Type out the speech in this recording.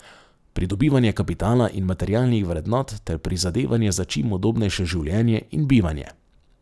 Pridobivanje kapitala in materialnih vrednot ter prizadevanje za čim udobnejše življenje in bivanje.